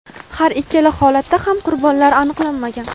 har ikkala holatda ham qurbonlar aniqlanmagan.